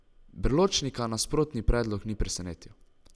Berločnika nasprotni predlog ni presenetil.